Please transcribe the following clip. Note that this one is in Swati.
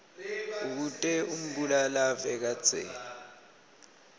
bekute umbulalave kadzeni